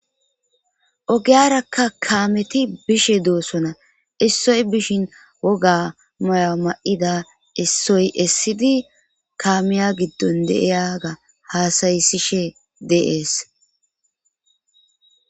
Ogiyarakka kaameti bishe doosona issoy bishin woga moya ma'ida issoy essidi kaamiya giddon deiyaga haasayisishe deees.